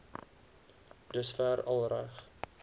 dusver al reg